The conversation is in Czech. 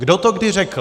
Kdo to kdy řekl!